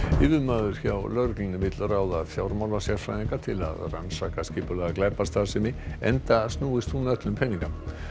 yfirmaður hjá lögreglunni vill ráða fjármálasérfræðinga til að rannsaka skipulagða glæpastarfsemi enda snúist hún öll um peninga